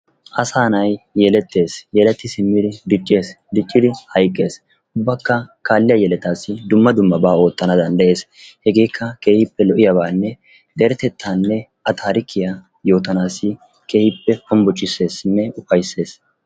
Asa nay yelettees, yeletti simmidi diccees, diccidi hayqqees. Ubbakka kaalliyaa yelettaas dumma dummaba oottana danddayees. Hegeekka keehippe lo"iyaabanne deretettanne a taarikkiyaa yootanassi keehippe hombboccissesinne ufayssees.